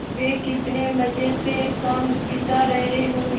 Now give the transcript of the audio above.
वे कितने मज़े से शाम बिता रहे होंगे